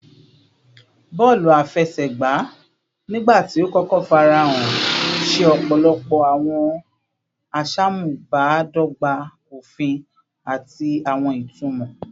Bọọlu afẹsẹgba, nigbati o kọkọ farahan, ṣe ọpọlọpọ awọn aṣamubadọgba ofin ati awọn itumọ